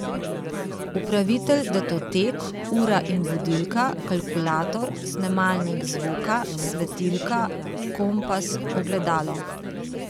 Upravitelj datotek, ura in budilka, kalkulator, snemalnik zvoka, svetilka, kompas, ogledalo ...